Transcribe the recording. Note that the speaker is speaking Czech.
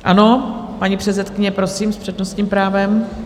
Ano, paní předsedkyně, prosím, s přednostním právem.